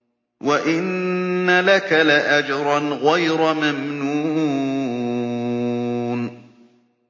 وَإِنَّ لَكَ لَأَجْرًا غَيْرَ مَمْنُونٍ